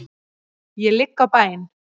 Ég ligg á bæn.